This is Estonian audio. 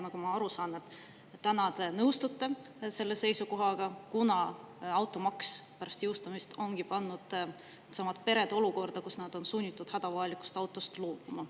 Nagu ma aru saan, te täna nõustute selle seisukohaga, kuna automaks ongi pärast jõustumist pannud need pered olukorda, kus nad on sunnitud hädavajalikust autost loobuma.